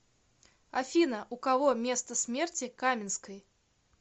афина у кого место смерти каменской